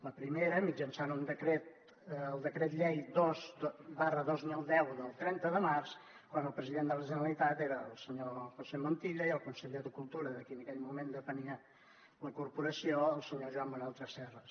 la primera mitjançant un decret el decret llei dos dos mil deu del trenta de març quan el president de la generalitat era el senyor josé montilla i el conseller de cultura de qui en aquell moment depenia la corporació el senyor joan manel tresserras